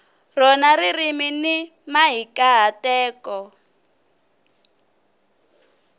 rona ririmi ni mahikahatelo